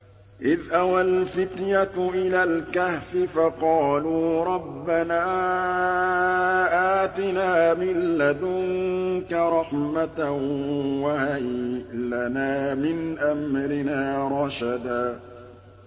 إِذْ أَوَى الْفِتْيَةُ إِلَى الْكَهْفِ فَقَالُوا رَبَّنَا آتِنَا مِن لَّدُنكَ رَحْمَةً وَهَيِّئْ لَنَا مِنْ أَمْرِنَا رَشَدًا